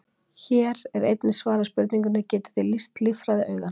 Hér er einnig svarað spurningunni: Getið þið lýst líffræði augans?